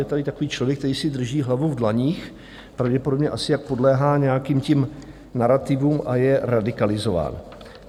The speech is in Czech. - Je tady takový člověk, který si drží hlavu v dlaních, pravděpodobně asi, jak podléhá nějakým těm narativům a je radikalizován.